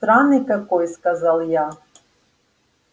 странный какой сказал я